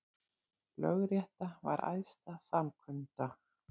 Lögrétta var æðsta samkunda